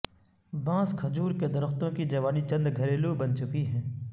بانس کھجور کے درختوں کی جوانی چند گھریلو بن چکی ہیں